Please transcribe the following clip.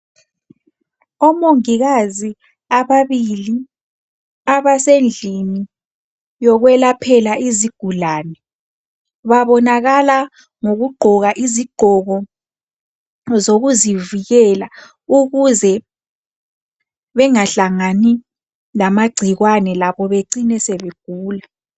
Omongikazi ababili abasendlini yokwelaphela izigulani, babonakala ngokugqoka izigqoko zokuzivikela ukuze bengahlangani lamagcikwane labo becine sebegula.